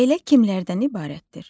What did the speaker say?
Ailə kimlərdən ibarətdir?